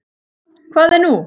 Hvað er nú?